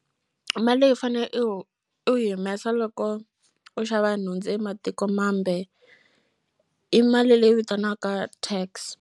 Mali leyi u fane u u yi humesa loko u xava nhundzu ematiko mambe i mali leyi vitaniwaka tax.